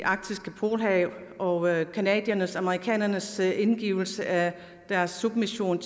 arktiske polarhav og canadiernes og amerikanernes indgivelse af deres submission